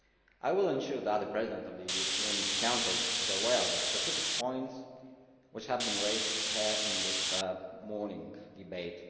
I will ensure that the President of the European Council is aware of the specific points which have been raised here in this morning's debate.